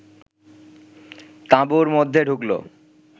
তাঁবুর মধ্যে ঢুকল